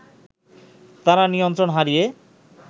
তারা নিয়ন্ত্রণ হারিয়ে